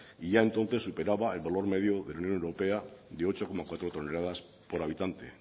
y ya entonces superaba el valor medio de la unión europea de ocho coma cuatro toneladas por habitante